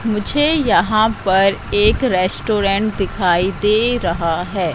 मुझे यहाँ पर एक रेस्टोरेंट दिखाई दे रहा है।